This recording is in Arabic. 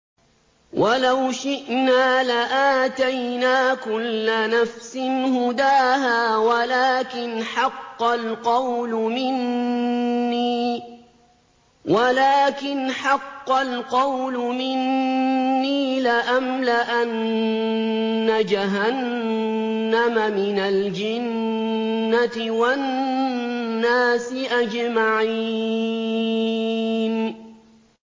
وَلَوْ شِئْنَا لَآتَيْنَا كُلَّ نَفْسٍ هُدَاهَا وَلَٰكِنْ حَقَّ الْقَوْلُ مِنِّي لَأَمْلَأَنَّ جَهَنَّمَ مِنَ الْجِنَّةِ وَالنَّاسِ أَجْمَعِينَ